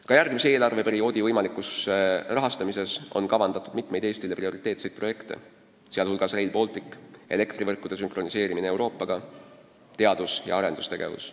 Ka järgmise eelarveperioodi võimaliku rahastamise raames on kavandatud mitmeid Eestile prioriteetseid projekte, sh Rail Baltic, elektrivõrgu sünkroniseerimine Euroopa omaga, teadus- ja arendustegevus.